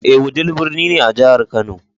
Ee, Wudil birni ne a jihar Kano.